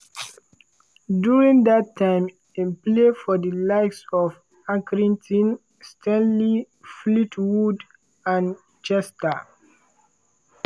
during dat time im play for di likes of accrington stanley fleetwood and chester.